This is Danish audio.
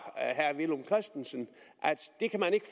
herre villum christensen at det kan man ikke